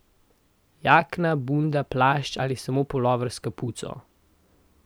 Jakna, bunda, plašč ali samo pulover s kapuco ...